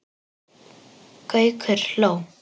Gaukur hló.